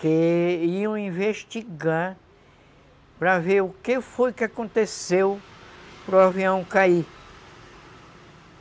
que iam investigar para ver o que foi que aconteceu para o avião cair.